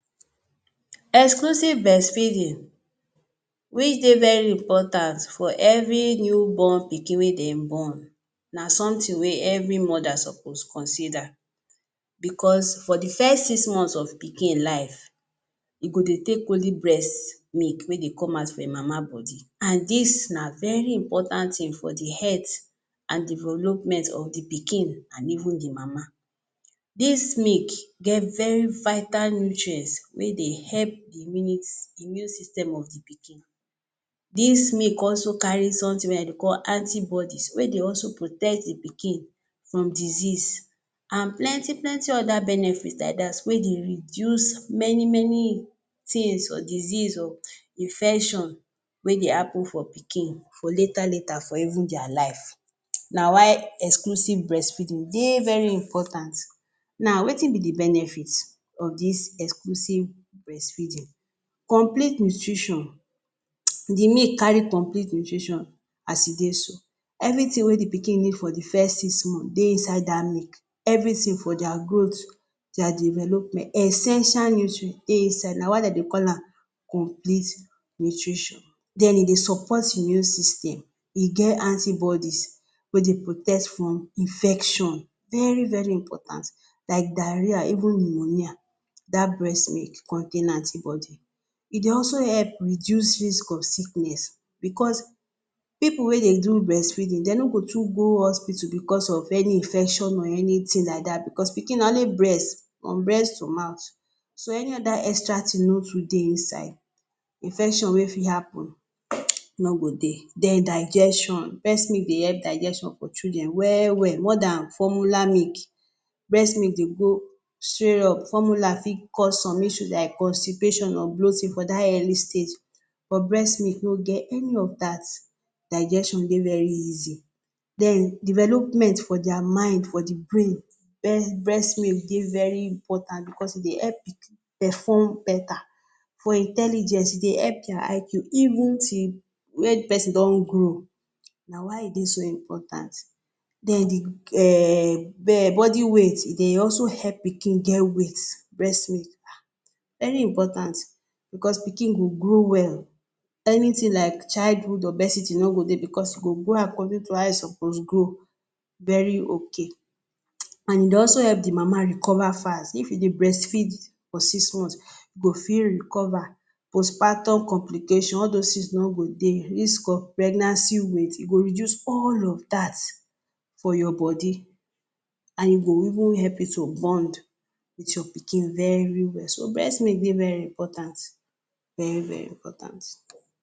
Exclusive breastfeeding wey dey very important for every new born pikin wey dem born na sometin wey every mother supposed consider bicos for di first six months of pikin life e go dey take only breast milk mey de come out for im mama body. Dis na very important tin for di health and development of di pikin and even di mama dis milk get very vital nutrients wey dey help di immune system of di pikin. Dis milk also carry somtin wey dem dey call anti bodies wey dey also protect di pikin from disease and plenty plenty oda benefits like dat wey dey reduce many many tins for disease o, infection, wey dey happun for pikin for leta leta, for even dia life. Na why exclusive breastfeeding dey very important. Now, wetin be di benefits of dis exclusive breastfeeding? Complete nutrition di milk carry Complete nutrition as e dey so. Evri tin wey di pikin need for di first six months dey inside dat milk evritin for dia growth, dia development, essential nutrients de inside na why dem dey call am Complete nutrition. Den dey dey support immune system e get antibodies wey dey protect from infection very very important like diarrhoea even neumonia dat breast milk contain anti bodies. E dey also help reduce risk of sickness bicos pipu wey dey do breastfeeding dem no go too go hospital bicos of any infection or anytin like dat bicos pikin na only breast, from breast to mouth. So any oda extra tin no top dey inside, infection wey fit happun no go dey. Den digestion, breast milk dey help digestion for children wel wel more dan formula milk. Breast milk dey go straight up, formula go fit cause some issue like constipation or bloating for dat early stage. But breast milk no get any of dat, digestion dey very easy. Den development for dia mind, for di brain breast milk dey very important bicos e dey help perform betta, for intelligence e dey help dia IQ even till wen di pesin don grow na why e dey so important. Den di body weight, dey also help pikin get weight, breast milk—haaa! Very important! Bicos pikin go grow well anytin like childhood obesity no go dey bicos e go grow according to how e suppose grow, very ok. And e dey also help di mama recover fast, if you dey breastfeed for six months, you go fit recover, postpartum complications all dos tins no go dey. Pregnancy weight, e go reduce all of dat from your body, and e go even help you to bond wit your pikin very well. Breast milk dey very important, very very important.